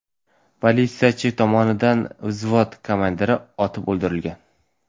Politsiyachi tomonidan vzvod komandiri otib o‘ldirilgan.